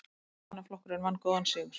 Verkamannaflokkurinn vann góðan sigur